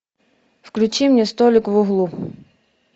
включи мне столик в углу